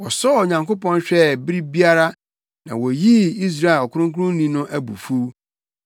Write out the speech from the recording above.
Wɔsɔɔ Onyankopɔn hwɛɛ bere biara; na woyii Israel Ɔkronkronni no abufuw.